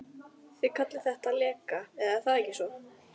Bubbi í boxinu er líka fínn EKKI besti íþróttafréttamaðurinn?